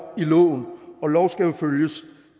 i loven og lov skal jo følges